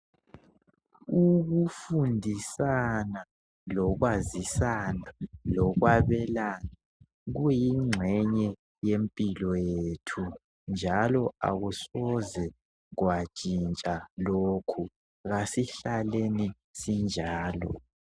Ukufundisana, lokwazisana lokwabelana kuyingxenye yempilo yethu njalo akusoze kwatshintsha lokhu .Kasihlaleni sinjalo.